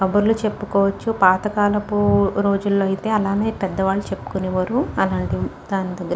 కబుర్లు చెప్పుకోవచ్చు పాతకాలపు రోజుల్లో అలానే పెద్దవాళ్లు చెప్పుకునేవారు అలాంటిది.